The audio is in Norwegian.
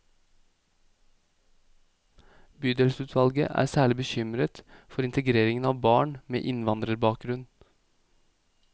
Bydelsutvalget er særlig bekymret for integreringen av barn med innvandrerbakgrunn.